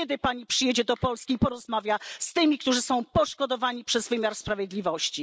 Kiedy Pani przyjedzie do Polski, porozmawia z tymi, którzy są poszkodowani przez wymiar sprawiedliwości?